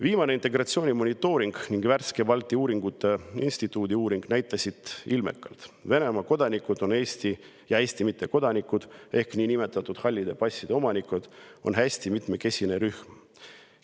Viimane integratsiooni monitooring ning Balti Uuringute Instituudi värske uuring näitasid ilmekalt, et Venemaa kodanikud ja Eesti mittekodanikud ehk niinimetatud hallide passide omanikud on hästi mitmekesine rühm.